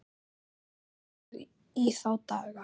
Þetta var í þá daga.